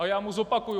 A já mu zopakuji.